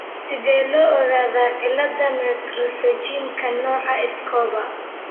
Sidee loo ogaadaa cillada Multipterygiumka, nooca Escobar?